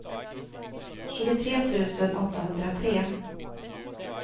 tjugotre tusen åttahundratre